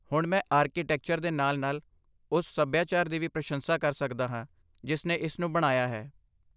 ਹੁਣ ਮੈਂ ਆਰਕੀਟੈਕਚਰ ਦੇ ਨਾਲ ਨਾਲ ਉਸ ਸਭਿਆਚਾਰ ਦੀ ਵੀ ਪ੍ਰਸ਼ੰਸਾ ਕਰ ਸਕਦਾ ਹਾਂ ਜਿਸ ਨੇ ਇਸ ਨੂੰ ਬਣਾਇਆ ਹੈ